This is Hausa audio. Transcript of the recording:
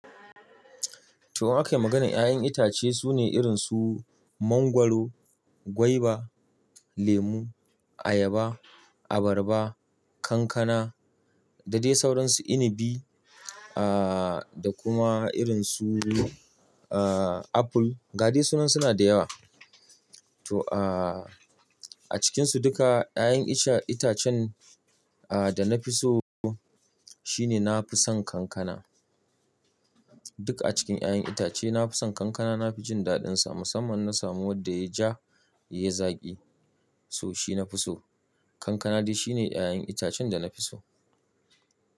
To ake maganan ƴa'ƴan itace sune irin su mangwaro, gwaiba, lemu, ayaba, abarba, kankana, da dai sauransu inibi aaaa, da kuma irin su aaa, apple. Ga dai sunan suna da yawa. To aaaa, a cikinsu duka ƴa'ƴan ita-itacen da na fi so shine na fi son kankana. Duk a cikin ƴa'ƴan itace nafi son kankana. Nafi jin daɗinsa, musamman na samu wanda yai ja yai zaki so shi na fi so. Kankana dai shi ne ƴa'ƴan itacen dana fi so.